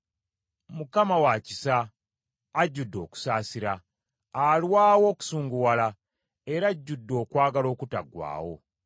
Mukama wa kisa, ajudde okusaasira, alwawo okusunguwala era ajudde okwagala okutaggwaawo.